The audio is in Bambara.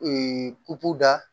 da